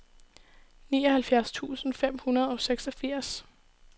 nioghalvfjerds tusind fem hundrede og seksogfirs